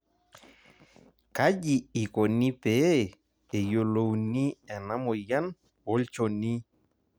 kaji ikoni pee eyiolouni ena moyian olnchoni